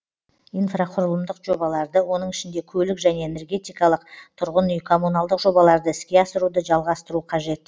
инфрақұрылымдық жобаларды оның ішінде көлік және энергетикалық тұрғын үй коммуналдық жобаларды іске асыруды жалғастыру қажет